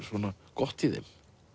gott í þeim